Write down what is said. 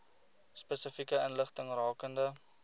spesifieke inligting rakende